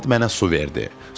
Polad mənə su verdi.